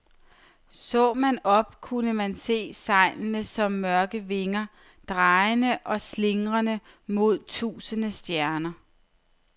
Så man op, kunne man se sejlene som mørke vinger, drejende og slingrende mod tusinde stjerner.